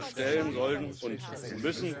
stellen sollen und müssen.